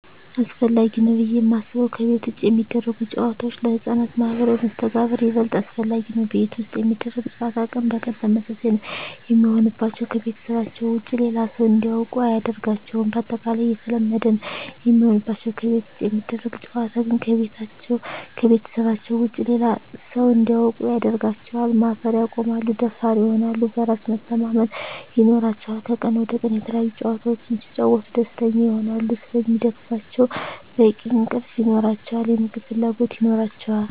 አሰፈላጊ ነው ብዬ የማስበው ከቤት ውጭ የሚደረጉ ጨዋታዎች ለህፃናት ማህበራዊ መስተጋብር ይበልጥ አስፈላጊ ነው። ቤት ውስጥ የሚደረግ ጨዋታ ቀን በቀን ተመሳሳይ ነው የሚሆንባቸው , ከቤተሰባቸው ውጭ ሌላ ሰው እንዲያውቁ አያደርጋቸውም ባጠቃላይ የተለመደ ነው የሚሆንባቸው። ከቤት ውጭ የሚደረግ ጨዋታ ግን ከቤተሰባቸው ውጭ ሌላ ሰው እንዲያውቁ ያደርጋቸዋል, ማፈር ያቆማሉ, ደፋር ይሆናሉ, በራስ መተማመን ይኖራቸዋል," ከቀን ወደ ቀን የተለያዪ ጨዋታዎች ሲጫወቱ ደስተኛ ይሆናሉ ስለሚደክማቸው በቂ እንቅልፍ ይኖራቸዋል, የምግብ ፍላጎት ይኖራቸዋል።